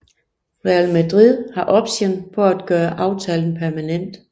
Real Madrid har option på at gøre aftalen permanent